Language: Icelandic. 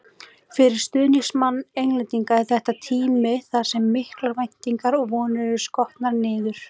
Fyrir stuðningsmann Englendinga er þetta tími þar sem miklar væntingar og vonir eru skotnar niður.